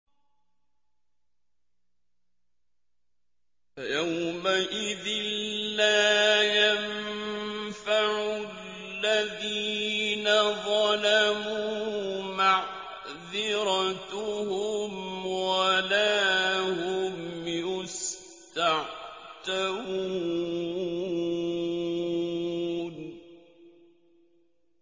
فَيَوْمَئِذٍ لَّا يَنفَعُ الَّذِينَ ظَلَمُوا مَعْذِرَتُهُمْ وَلَا هُمْ يُسْتَعْتَبُونَ